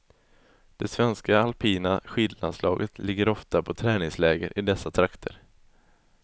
Det svenska alpina skidlandslaget ligger ofta på träningsläger i dessa trakter.